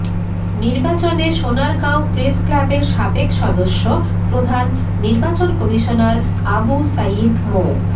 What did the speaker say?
নির্বাচনে সোনারগাঁও প্রেস ক্লাবের সাবেক সদস্য প্রধান নির্বাচন কমিশনার আবু সাইদ মো